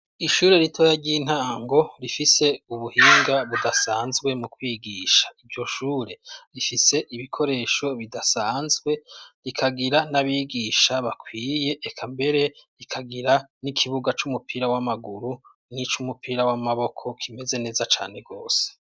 Ishure ritoya ry'intango rifise ubuhinga budasanzwe mu kwigisha. Iryo shure, rifise ibikoresho bidasanzwe rikagira n'abigisha bakwiye eka mbere rikagira n'ikibuga c'umupira w'amaguru n'ic'umupira w'amaboko kimeze neza cane rwose.